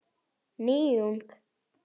Nýtt hunang.